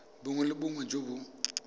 bongwe le bongwe jo bo